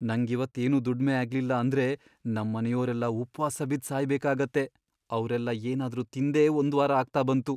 ನಂಗಿವತ್ತ್ ಏನೂ ದುಡ್ಮೆ ಆಗ್ಲಿಲ್ಲ ಅಂದ್ರೆ ನಮ್ಮನೆಯೋರೆಲ್ಲ ಉಪ್ವಾಸ ಬಿದ್ದ್ ಸಾಯ್ಬೇಕಾಗತ್ತೆ, ಅವ್ರೆಲ್ಲ ಏನಾದ್ರೂ ತಿಂದೇ ಒಂದ್ವಾರ ಆಗ್ತಾ ಬಂತು.